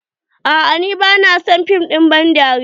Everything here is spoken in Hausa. Aa ni bana son fim ban dariya.